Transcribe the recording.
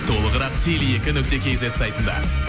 толығырақ теле екі нүкте кейзет сайтында